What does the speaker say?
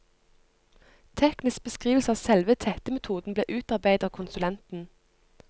Teknisk beskrivelse av selve tettemetoden ble utarbeidet av konsulenten.